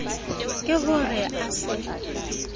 ke ho re a se